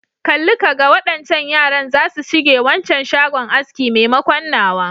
Kalli ka ga, waɗancan yaran zasu shige waccan shagon aski maimakon nawa.